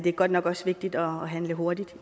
er godt nok også vigtigt at handle hurtigt